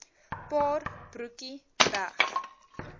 paar broekie weg